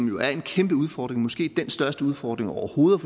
jo er en kæmpe udfordring måske den største udfordring overhovedet